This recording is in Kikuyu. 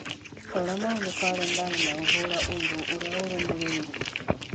rora maũndũ karenda-inĩ na ũhũra ũndũ ũrĩa ũrũmĩrĩire